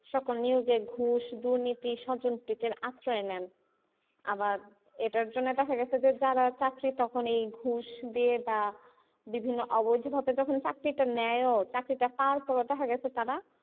সকল news দুর্নীতি, সজনপ্রিতের আশ্রয় নেন আবার এটার জন্য দেখা গেছে যে যারা চাকরি তখন এই ঘুস দিয়ে বা বিভিন্ন অবৈধভাবে যখন চাকরিটা নেয়ও চাকরিটা পাওয়ার পরেও দেখা গেছে তারা,